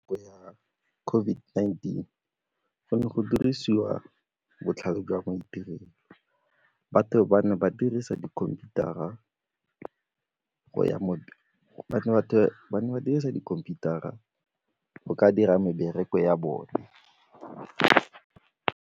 Ko ya COVID-19 go ne go dirisiwa botlhale jwa maitirelo, batho ba ne ba dirisa dikhomputara go ka dira mebereko ya bone.